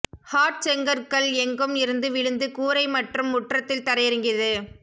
hot செங்கற்கள் எங்கும் இருந்து விழுந்து கூரை மற்றும் முற்றத்தில் தரையிறங்கியது